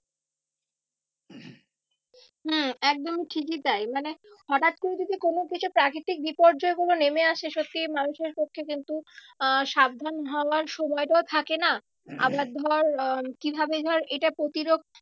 হম একদমই ঠিকই তাই মানে হঠাৎ করে যদি কোনো কিছু প্রাকৃতিক বিপর্যয় গুলো নেমে আসে সত্যি মানুষের পক্ষে কিন্তু আহ সাবধান হওয়ার সময়টাও থাকে না। আবার ধর আহ কি ভাবে ধর এটা প্রতিরোধ